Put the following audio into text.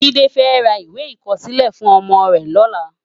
Jide fè rá iwé ikòsilè fún òmò rè lòlá